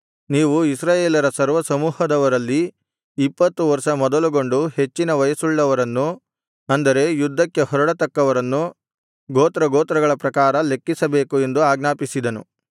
ನೀವು ಇಸ್ರಾಯೇಲರ ಸರ್ವಸಮೂಹದವರಲ್ಲಿ ಇಪ್ಪತ್ತು ವರ್ಷ ಮೊದಲುಗೊಂಡು ಹೆಚ್ಚಿನ ವಯಸ್ಸುಳ್ಳವರನ್ನು ಅಂದರೆ ಯುದ್ಧಕ್ಕೆ ಹೊರಡತಕ್ಕವರನ್ನು ಗೋತ್ರಗೋತ್ರಗಳ ಪ್ರಕಾರ ಲೆಕ್ಕಿಸಬೇಕು ಎಂದು ಆಜ್ಞಾಪಿಸಿದನು